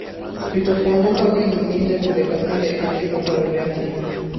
Rito kuonde ma winy nindoe pile ka pile en gima dwarore ahinya.